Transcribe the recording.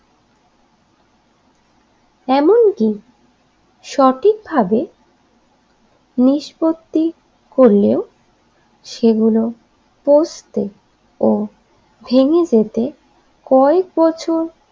এমন কি সঠিকভাবে নিষ্পত্তি করলেও সেগুলো পচতে ও ভেঙ্গে যেতে কয়েক বছর।